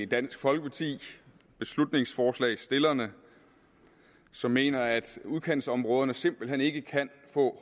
dansk folkeparti beslutningsforslagsstillerne som mener at udkantsområderne simpelt hen ikke kan få